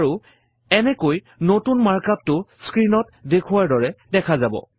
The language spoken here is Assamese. আৰু এনেকৈ নতুন মাৰ্ক up টো স্ক্ৰীণত দেখুওৱাৰ দৰে দেখা যাব